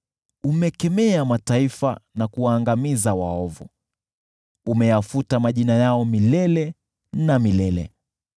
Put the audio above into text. Umekemea mataifa na kuwaangamiza waovu; umeyafuta majina yao milele na milele.